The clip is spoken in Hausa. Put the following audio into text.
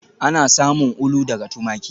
Ana samun ulu daga tumaki